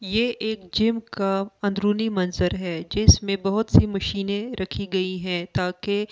यह एक जिम का अंदरुनी मंजर है जिसमें बहुत सी मशीनें रखी गई हैं ताकि--